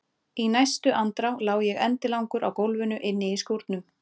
Í næstu andrá lá ég endilangur á gólfinu inni í skúrnum!